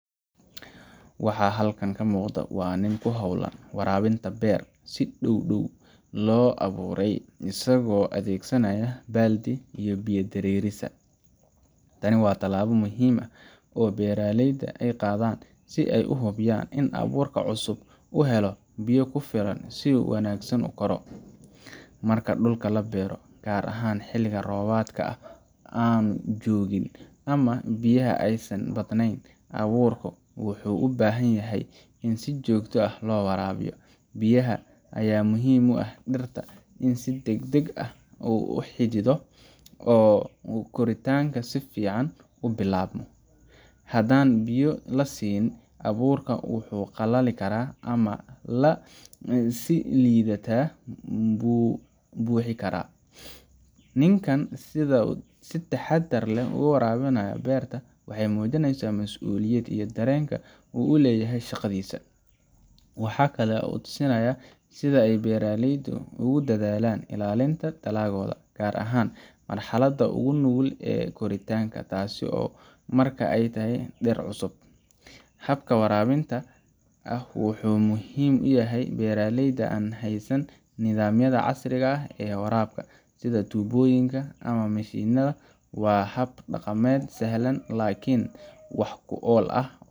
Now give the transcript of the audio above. Waxa halkan ka muuqda waa nin ku hawlan waraabinta beer si dhow dhaw loo abuuray, isagoo adeegsanaya baaldi biyo-dareerisa. Tani waa tallaabo muhiim ah oo beeraleyda ay qaadaan si ay u hubiyaan in abuurka cusub uu helo biyo ku filan si uu si wanaagsan u koro. Marka dhul la beero, gaar ahaan xilli roobaadka aanu joogin ama biyaha aysan badnayn, abuurka wuxuu u baahan yahay in si joogto ah loo waraabiyo. Biyaha ayaa muhiim u ah in ay dhirta si degdeg ah u xididdo oo koritaanka si fiican u bilaabmo. Haddaan biyo la siin, abuurka wuu qalali karaa ama si liidata buu u bixi karaa. Ninkan sida uu si taxaddar leh u waraabinayo beerta waxa ay muujinaysaa masuuliyadda iyo dareenka uu u leeyahay shaqadiisa. Waxa kale oo uu tusinayaa sida ay beeraleyda ugu dadaalaan ilaalinta dalaggooda, gaar ahaan marxaladda ugu nugul ee koritaanka, taasoo ah marka ay tahay dhir cusub. Habkan waraabinta ah wuxuu muhiim u yahay beeraleyda aan haysan nidaamyada casriga ah ee waraabka, sida tuubooyinka ama mishiinada. Waa hab dhaqameed sahlan laakiin wax ku ool ah.